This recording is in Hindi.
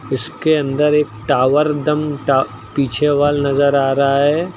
इसके अंदर एक टावर दम टा पीछे वॉल नजर आ रहा है।